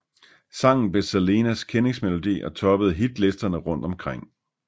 Sangen blev Selenas kendingsmelodi og toppede hitlisterne rundt omkring